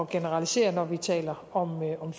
generalisere når vi taler om